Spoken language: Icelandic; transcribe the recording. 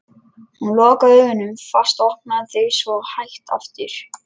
Hún lokaði augunum fast og opnaði þau svo hægt aftur.